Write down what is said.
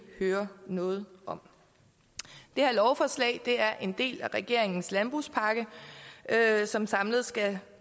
hører noget om det her lovforslag er en del af regeringens landbrugspakke som samlet skal